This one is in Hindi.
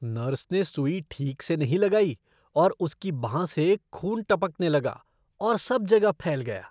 नर्स ने सुई ठीक से नहीं लगाई और उसकी बांह से खून टपकने लगा और सब जगह फैल गया।